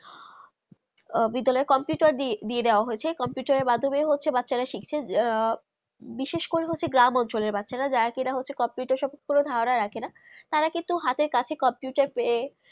বিদ্যালয় computer দিয়ে দেব হয়েছে computer এ মাধমিয়ে ব্যাচারা শিখচে বিশেষ করে গ্রাম অঞ্চলের ব্যাচারা যারা কে হচ্ছে computer েকে কোনো ধারণা রাখে না তারা কিন্তু হাতের কাছে computer পেয়ে